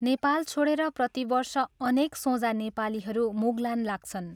नेपाल छोड़ेर प्रतिवर्ष अनेक सोझा नेपालीहरू मुगलान लाग्छन्।